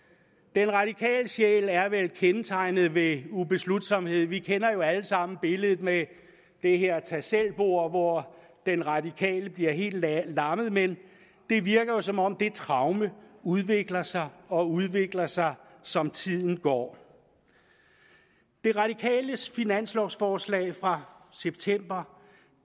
den radikale sjæl er vel kendetegnet ved ubeslutsomhed vi kender alle sammen billedet med det her tagselvbord hvor den radikale bliver helt lammet men det virker som om det traume udvikler sig og udvikler sig som tiden går de radikales finanslovforslag fra september